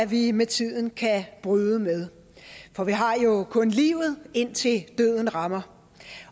vi med tiden kan bryde med for vi har jo kun livet indtil døden rammer